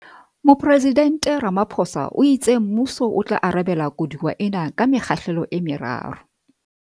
Mopresidnte Ramaphosa o itse mmuso o tla arabela koduwa ena ka mekgahlelo e meraro.